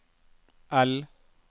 L